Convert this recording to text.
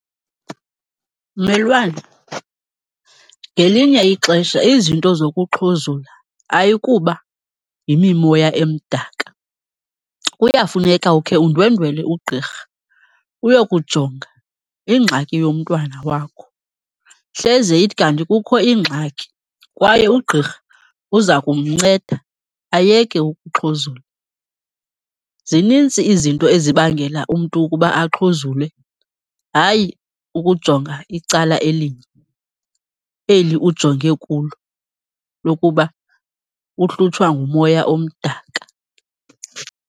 Mmelwane, ngelinye ixesha izinto zokuxhuzula ayikuba yimimoya emdaka. Kuyafuneka ukhe undwendwele ugqirha uyokujonga ingxaki yomntwana wakho. Hleze ithi kanti kukho ingxaki kwaye ugqirha uza kumnceda ayeke ukuxhuzula. Zinintsi izinto ezibangela umntu ukuba axhuzule, hayi ukujonga icala elinye, eli ujonge kulo lokuba uhlutshwa ngumoya omdaka.